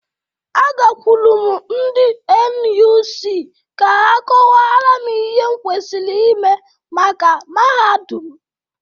Agakwụru m ndị NUC ka ha kọwara m ihe m kwesiri ime maka mahadum.